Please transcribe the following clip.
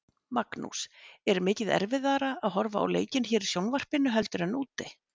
Magnús: Er mikið erfiðara að horfa á leikinn hér í sjónvarpinu heldur en úti?